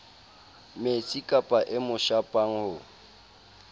metsikapa e mo shapang ho